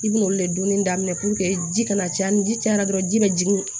I bina olu de dunni daminɛ ji kana caya ni ji cayara dɔrɔn ji bɛ jigin